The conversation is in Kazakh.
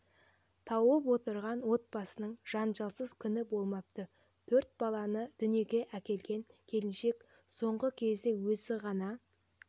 тауып отырған отбасының жанжалсыз күні болмапты төрт баланы дүниеге әкелген келіншек соңғы кезде өзі ғана